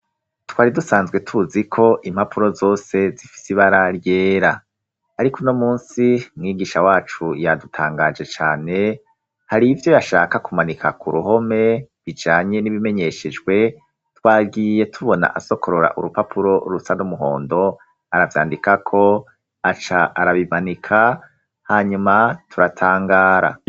Twari dusanzwe tuzi ko impapuro zose zifise ibara ryera ariko uno munsi mwigisha wacu yadutangaje cane hari ivyo yashaka kumanika ku ruhome bijanye n'ibimenyeshejwe twagiye tubona asokorora urupapuro rusa n'umuhondo aravyandikako aca arabimanika hanyuma turatangara.